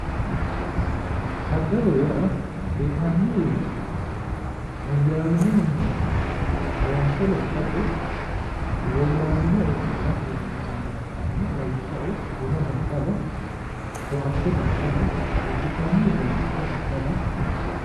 Daddaloho yaa hee'nanni heeshsho woyyaawinohunni loonse lophate woyyaabbino eo afi'rate loonsanniha ikkanna, lawishshaho, buna daddala koatte daddala udi'nanni uduunnicho daddala.